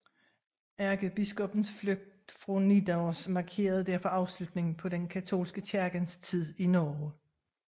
Ærkebiskoppens flugt fra Nidaros markerede derfor afslutningen på den katolske kirkes tid i Norge